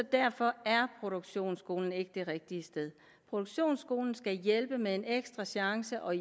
derfor er produktionsskolen ikke det rigtige sted produktionsskolen skal hjælpe med en ekstra chance og